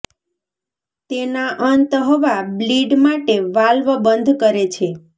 તેના અંત હવા બ્લીડ માટે વાલ્વ બંધ કરે છે